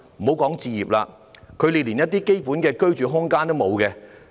先不說置業，他們連基本的居住空間也沒有。